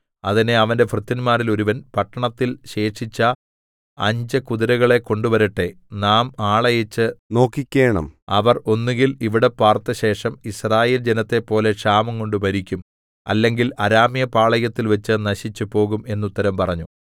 അതിന് അവന്റെ ഭൃത്യന്മാരിൽ ഒരുവൻ പട്ടണത്തിൽ ശേഷിച്ച അഞ്ച് കുതിരകളെ കൊണ്ടുവരട്ടെ നാം ആളയച്ച് നോക്കിക്കേണം അവർ ഒന്നുകിൽ ഇവിടെ പാർത്ത് ശേഷം യിസ്രായേൽ ജനത്തെപ്പോലെ ക്ഷാമംകൊണ്ട് മരിക്കും അല്ലെങ്കിൽ അരാമ്യപാളയത്തിൽ വച്ച് നശിച്ച് പോകും എന്ന് ഉത്തരം പറഞ്ഞു